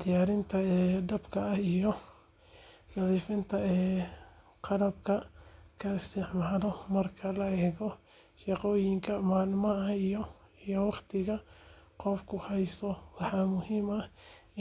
diyaarinta dhadhanka, iyo nadiifinta qalabka la isticmaalayo. Marka la eego shaqooyinka maalinlaha ah iyo waqtiga qofku haysto, waxaa muhiim ah